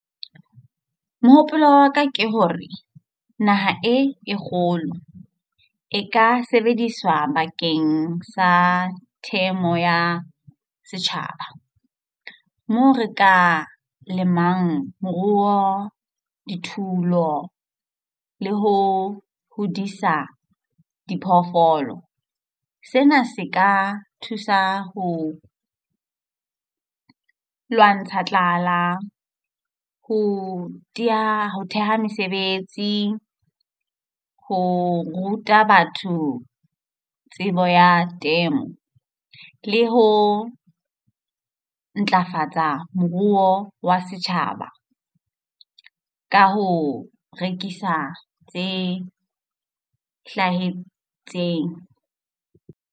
Mohopolo wa ka ke hore naha e e kgolo e ka sebediswa bakeng sa temo ya setjhaba, moo re ka lemang moruo, dithupelo le ho hodisa diphoofolo. Sena se ka thusa ho lwantsha tlala, ho theha mesebetsi, ho ruta batho tsebo ya temo le ho ntlafatsa moruo wa setjhaba ka ho rekisa tse hlahetseng.